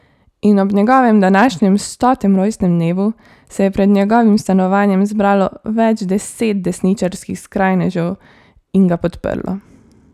In ob njegovem današnjem stotem rojstnem dnevu se je pred njegovim stanovanjem zbralo več deset desničarskih skrajnežev in ga podprlo.